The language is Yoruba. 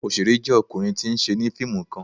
Oṣere jẹ ọkunrin ti n ṣẹ ni fiimu kan